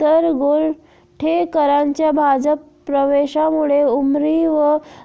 तर गोरठेकरांच्या भाजप प्रवेशामुळे उमरी व